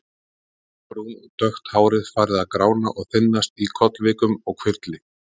Augun brún og dökkt hárið farið að grána og þynnast í kollvikum og hvirfli.